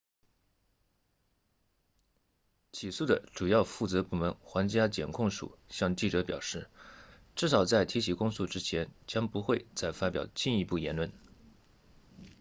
起诉的主要负责部门皇家检控署向记者表示至少在提起公诉之前将不会再发表进一步言论